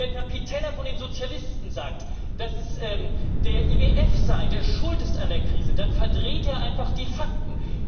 Wenn Herr Pittella von den Sozialisten sagt, dass es der IWF sei, der schuld an der Krise ist, dann verdreht er einfach die Fakten.